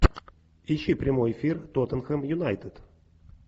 ищи прямой эфир тоттенхэм юнайтед